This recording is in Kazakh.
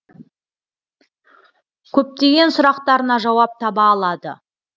көптеген сұрақтарына жауап таба алады